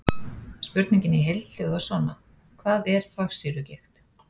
Spurningin í heild hljóðar svona: Hvað er þvagsýrugigt?